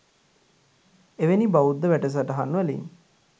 එවැනි බෞද්ධ වැඩසටහන් වලින්